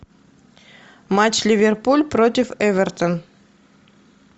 матч ливерпуль против эвертон